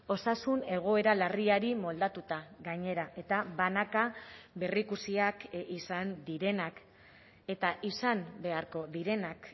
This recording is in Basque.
osasun egoera larriari moldatuta gainera eta banaka berrikusiak izan direnak eta izan beharko direnak